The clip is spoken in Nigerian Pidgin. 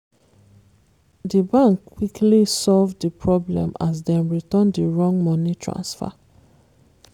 di bank quickly solve di problem as dem return di wrong money transfer.